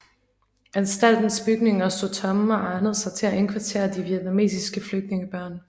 Anstaltens bygninger stod tomme og egnede sig til at indkvartere de vietnamesiske flygtningebørn